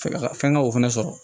Fɛn ka fɛn ka o fɛnɛ sɔrɔ